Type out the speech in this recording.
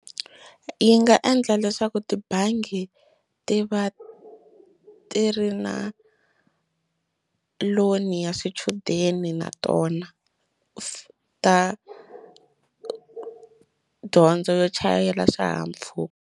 Yi nga endla leswaku tibangi ti va ti ri na loan ya swichudeni na tona ta dyondzo yo chayela swihahampfhuka.